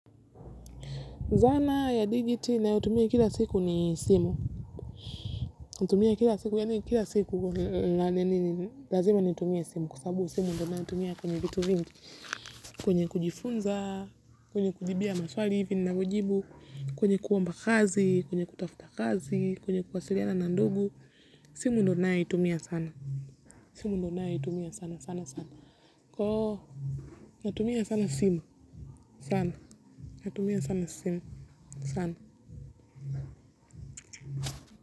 Zana ya digiti nayotumia kila siku ni simu. Natumia kila siku, yaani kila siku, lazima nitumie simu, kwa sababu simu ndo naitumia kwenye vitu vingi. Kwenye kujifunza, kwenye kujibia maswali hivi ninavojibu, kwenye kuomba kazi, kwenye kutafuta kazi, kwenye kuwasiliana na ndugu, simu ndo ninaeitumia sana. Simu ndo naeitumia sana sana sana. Natumia sana simu. Sana. Natumia sana simu. Sana.